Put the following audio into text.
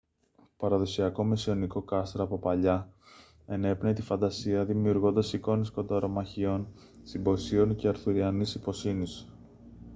το παραδοσιακό μεσαιωνικό κάστρο από παλιά ενέπνεε τη φαντασία δημιουργώντας εικόνες κονταρομαχιών συμποσίων και αρθουριανής ιπποσύνης